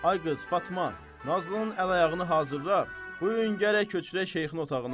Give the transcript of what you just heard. Ay qız Fatma, Nazlının əl-ayağını hazırla, bu gün gərək köçürə şeyxin otağına.